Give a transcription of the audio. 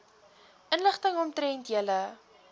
inligting omtrent julle